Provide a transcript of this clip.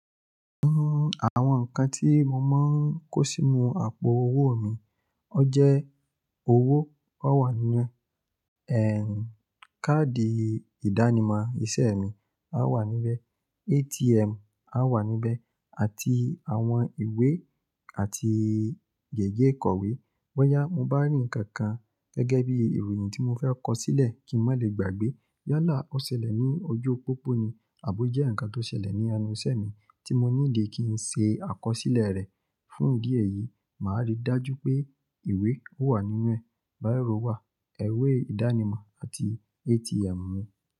Uhm, àwọn nǹkan tí mo máa ń kó sínú àpò owó mi, ó jẹ́ owó ó wà nínú ẹ̀, káàdì ìdánimọ̀ iṣẹ́ mi á wà níbẹ̀, ATM á wà níbẹ̀ àti àwọn ìwé àti gègé ìkọ̀wé. Bọ́yá mo bá rí ǹkan kan gẹ́gẹ́ bí ìròyìn tí mo fẹ́ kọ sílẹ̀ kí n má lè gbàgbé yálà ó ṣẹlẹ̀ ní ojú pópó ni àbo jẹ́ ǹkan tó ṣẹlẹ̀ ní ẹnu iṣẹ́ mi tí mo nídi kí ń ṣe àkọsílẹ̀ rẹ̀, fún ìdí èyí, màá rí dájú pé ìwé ó wà nínú ẹ̀, biro rọ wà, ìwé ìdánimọ̀ àti ATM mi.